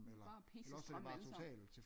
De er bare pisse stramme alle sammen